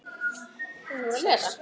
Handa sex